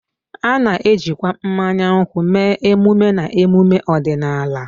A na-ejikwa mmanya nkwụ mee emume na emume ọdịnala